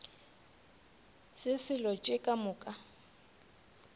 se selo tše ka moka